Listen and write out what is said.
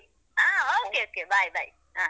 ಹಾ okay okay bye bye ಹಾ.